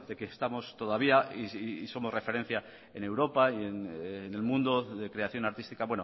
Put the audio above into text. que estamos todavía y somos referencia en europa y en el mundo de creación artística